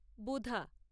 বুধা